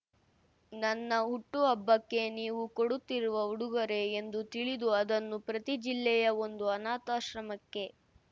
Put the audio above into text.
ನನ್ನ ಹುಟ್ಟುಹಬ್ಬಕ್ಕೆ ನೀವು ಕೊಡುತ್ತಿರುವ ಉಡುಗೊರೆ ಎಂದು ತಿಳಿದು ಅದನ್ನು ಪ್ರತಿಜಿಲ್ಲೆಯ ಒಂದು ಅನಾಥಾಶ್ರಮಕ್ಕೆ